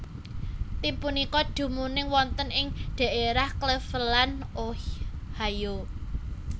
Tim punika dumunung wonten ing dhaérah Cleveland Ohio